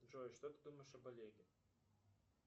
джой что ты думаешь об олеге